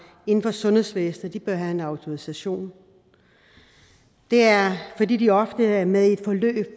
inden for sundhedsvæsenet bør have en autorisation det er fordi de ofte er med i et forløb